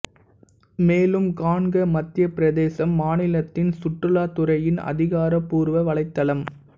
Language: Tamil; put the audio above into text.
மேலும் காண்க மத்தியப் பிரதேசம் மாநிலத்தின் சுற்றுலாத்துறையின் அதிகாரப்பூர்வ வலைத்தளம்